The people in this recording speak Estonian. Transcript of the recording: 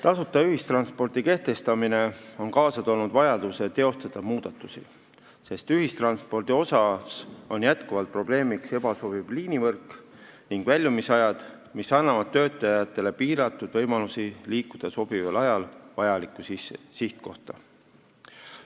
Tasuta ühistranspordi kehtestamine on kaasa toonud vajaduse teha muudatusi, sest ühistranspordis on jätkuvalt probleemiks ebasobiv liinivõrk ning väljumisajad, mis annavad töötajatele ainult piiratud võimalusi liikuda sobival ajal vajalikku sihtkohta.